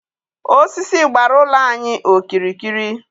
Osisi gbara ụlọ anyi okirikiri.